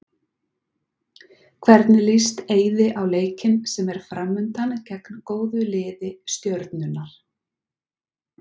Hvernig líst Eiði á leikinn sem er framundan, gegn góðu lið Stjörnunnar?